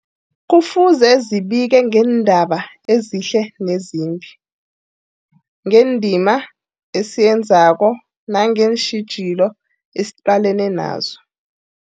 Kufuze zibike ngeendaba ezihle nezimbi, ngendima esiyenzako nangeentjhijilo esiqalene nazo.